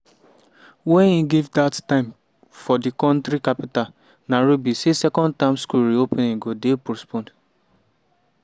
wey im give dat time for di kontri capital nairobi say second term school reopening go dey postponed.